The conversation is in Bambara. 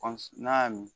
n'a y'a min